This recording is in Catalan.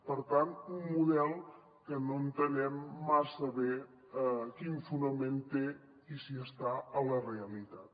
per tant un model que no entenem massa bé quin fonament té i si està a la realitat